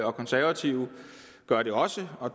og konservative gør det også og